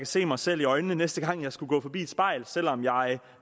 se mig selv i øjnene næste gang jeg skulle gå forbi et spejl selv om jeg